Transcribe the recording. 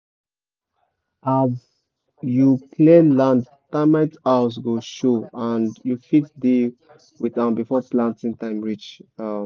as you clear land termite house go show and you fit deal with am before planting time reach